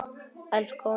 Elsku Óli.